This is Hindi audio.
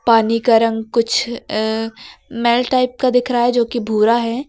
पानी का रंग कुछ मैल टाइप का दिख रहा है जो कि भूरा है।